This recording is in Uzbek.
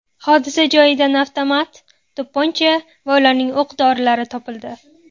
Hodisa joyidan avtomat, to‘pponcha va ularning o‘q-dorilari topildi.